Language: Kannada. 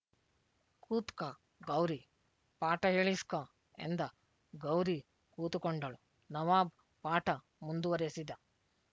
ಕೂತ್ಕಾ ಗೌರಿ ಪಾಠ ಹೇಳಿಸ್ಕೊ ಎಂದ ಗೌರಿ ಕೂತುಕೊಂಡಳು ನವಾಬ್ ಪಾಠ ಮುಂದುವರೆಸಿದ